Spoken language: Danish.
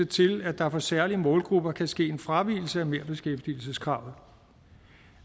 til at der for særlige målgrupper kan ske en fravigelse af merbeskæftigelseskravet